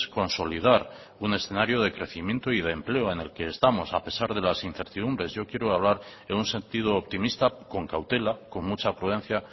consolidar un escenario de crecimiento y de empleo en el que estamos a pesar de las incertidumbres yo quiero hablar en un sentido optimista con cautela con mucha prudencia